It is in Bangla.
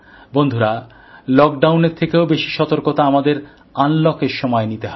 বন্ধুরা লকডাউনের থেকেও বেশি সতর্কতা আমাদের আনলকের সময় নিতে হবে